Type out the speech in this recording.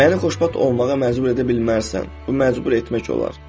Məni xoşbəxt olmağa məcbur edə bilməzsən, bu məcbur etmək olar.